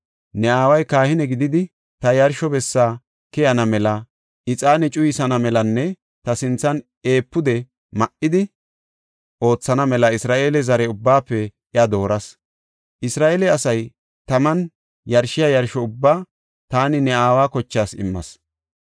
Ne aaway kahine gididi ta yarsho bessa keyana mela, ixaane cuyisana melanne ta sinthan efuude ma7idi oothana mela Isra7eele zare ubbaafe iya dooras. Isra7eele asay taman yarshiya yarsho ubbaa taani ne aawa kochaas immas.